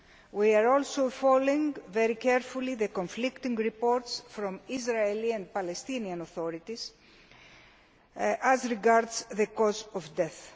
We are also following very carefully the conflicting reports from Israeli and Palestinian authorities as regards the cause of death.